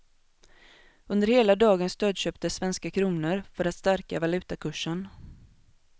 Under hela dagen stödköptes svenska kronor, för att stärka valutakursen.